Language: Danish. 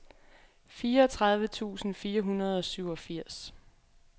fireogtredive tusind fire hundrede og syvogfirs